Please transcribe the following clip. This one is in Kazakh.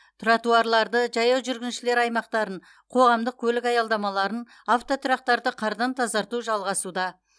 тротуарларды жаяу жүргіншілер аймақтарын қоғамдық көлік аялдамаларын автотұрақтарды қардан тазарту жалғасуда